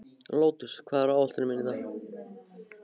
Lótus, hvað er á áætluninni minni í dag?